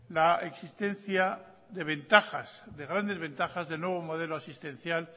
la existencia de ventajas de grandes ventajas del nuevo modelo asistencial